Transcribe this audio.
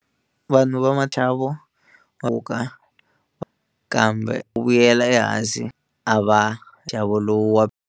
Vanhu va Thabo kambe u vuyela ehansi a va nxavo lowu wa.